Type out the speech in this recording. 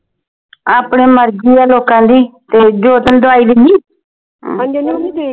ਆਪਣੇ ਮਰਜੀ ਆ ਲੋਕਾਂ ਦੀ ਉਹ ਜੋਤ ਨੂੰ ਦਵਾਈ ਦਿੰਨੀ ਆ